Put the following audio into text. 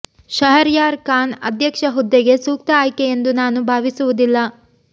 ಶಹರ್ಯಾರ್ ಖಾನ್ ಅಧ್ಯಕ್ಷ ಹುದ್ದೆಗೆ ಸೂಕ್ತ ಆಯ್ಕೆ ಎಂದು ನಾನು ಭಾವಿಸುವುದಿಲ್ಲ